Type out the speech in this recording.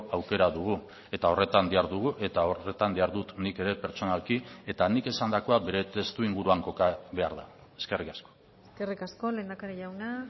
aukera dugu eta horretan dihardugu eta horretan dihardut nik ere pertsonalki eta nik esandakoa bere testuinguruan koka behar da eskerrik asko eskerrik asko lehendakari jauna